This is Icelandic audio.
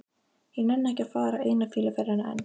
Ég nenni ekki að fara eina fýluferðina enn.